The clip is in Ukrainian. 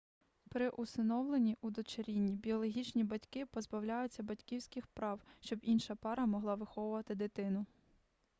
при усиновленні удочерінні біологічні батьки позбавляються батьківських прав щоб інша пара могла виховувати дитину